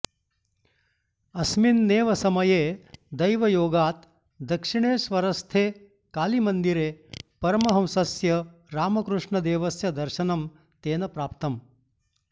अस्मिन्नेव समये दैवयोगात् दक्षिणेश्वरस्थे कालीमन्दिरे परमहंसस्य रामकृष्णदेवस्य दर्शनं तेन प्राप्तम्